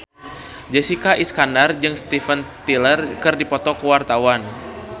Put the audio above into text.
Jessica Iskandar jeung Steven Tyler keur dipoto ku wartawan